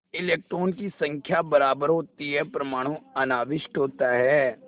इलेक्ट्रॉनों की संख्या बराबर होती है परमाणु अनाविष्ट होता है